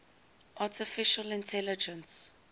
artificial intelligence